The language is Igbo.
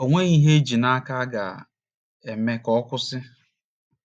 O nweghị ihe e ji n’aka a ga - eme ka ọ kwụsị.